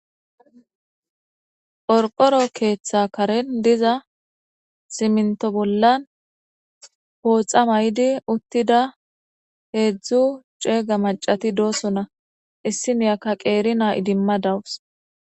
Orqoro keeththa karen diza siminto bollan pooxa may7di uttida heedzdzu ceega macati dooso na issi miyakka qeeri naa idimma dawus.